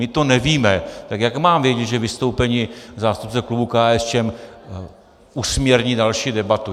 My to nevíme, tak jak mám vědět, že vystoupení zástupce klubu KSČM usměrní další debatu?